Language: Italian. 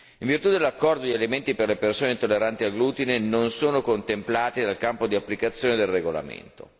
In virtù dell'accordo, gli alimenti per le persone intolleranti al glutine non sono contemplati dal campo di applicazione del regolamento.